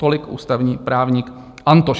Tolik ústavní právník Antoš.